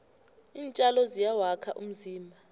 iintjalo ziyawakha umzimba